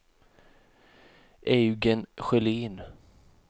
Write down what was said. Eugen Sjölin